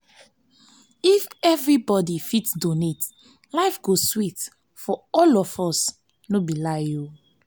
if everybody fit donate life go sweet for all of us no be lie.